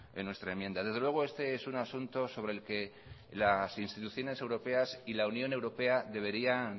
en nuestra enmienda desde luego este es un asunto sobre el que las instituciones europeas y la unión europea deberían